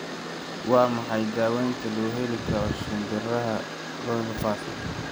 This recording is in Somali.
Waa maxay daawaynta loo heli karo shinbiraha chorioretinopathy?